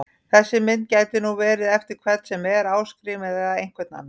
Þessi mynd gæti nú verið eftir hvern sem er, Ásgrím eða einhvern annan!